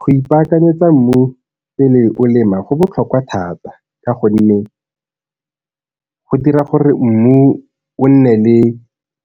Go ipakanyetsa mmu pele o lema go botlhokwa thata ka gonne go dira gore mmu o nne le